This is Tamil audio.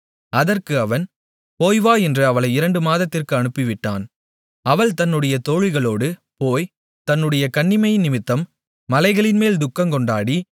அதற்கு அவன் போய்வா என்று அவளை இரண்டு மாதத்திற்கு அனுப்பிவிட்டான் அவள் தன்னுடைய தோழிகளோடு போய்த் தன்னுடைய கன்னிமையினிமித்தம் மலைகளின்மேல் துக்கங்கொண்டாடி